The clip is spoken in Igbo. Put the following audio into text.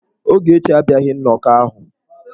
Ogechi abịaghị nnọkọ ahụ.